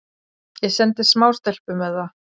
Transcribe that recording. Ég sendi smástelpu með það.